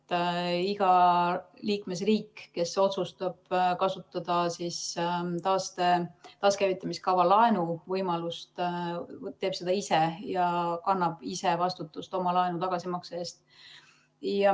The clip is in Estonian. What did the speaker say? Iga liikmesriik, kes otsustab kasutada taaskäivitamise kava laenuvõimalust, teeb seda ise ja kannab ise vastutust oma laenu tagasimakse eest.